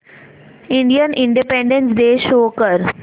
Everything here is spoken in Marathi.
इंडियन इंडिपेंडेंस डे शो कर